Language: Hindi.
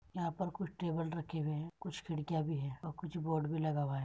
यहाँ पर कुछ टेबल रखे हुए हैं कुछ खिड़किया भी है और कुछ बोर्ड भी लगा हुआ है।